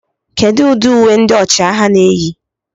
Kedu ụdị uwe ndị ọchịagha na-eyi